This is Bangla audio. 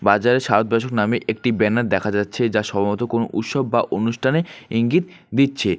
বাজারে সাত বছর নামে একটি ব্যানার দেখা যাচ্ছে যা সম্ভবত কোনো উৎসব বা অনুষ্ঠানের ইঙ্গিত দিচ্ছে।